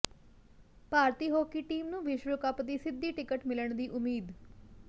ਭਾਰਤੀ hockey team ਨੂੰ ਵਿਸ਼ਵ cup ਦੀ ਸਿੱਧੀ ਟਿਕਟ ਮਿਲਣ ਦੀ ਉਮੀਦ